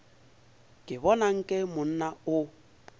ke bona nke monna o